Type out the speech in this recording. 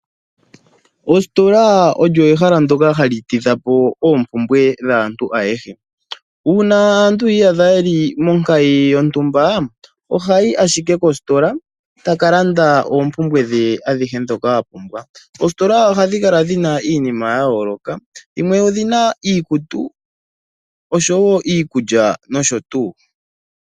Ostola olyo ehala ndyoka hali tidhapo oompumbwe dhaantu ayehe uuna aantu yiyadha yeli monkayi yontumba ohayi ashike kostola taka landa oompumbwe dhe adhihe ndhoka a pumbwa oostola ohadhi kala dhina iinima yayooloka dhimwe odhina iikutu oshowo iikulya nosho tuu.